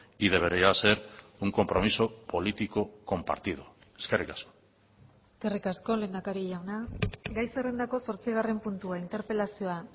y debería ser un compromiso político compartido eskerrik asko eskerrik asko lehendakari jauna gai zerrendako zortzigarren puntua interpelazioa